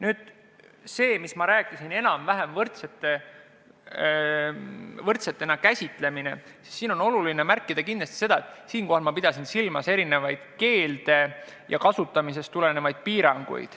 Nüüd see, mis ma rääkisin enam-vähem võrdsest käsitlusest, siis on oluline märkida kindlasti seda, et ma pidasin silmas erinevaid keelde ja kasutamisest tulenevaid piiranguid.